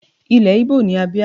Ilẹ̀ Igbo ni Abia.